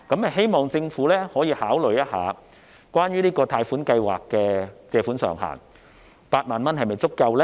希望政府可以考慮這個貸款計劃的借款上限 ，8 萬元是否足夠呢？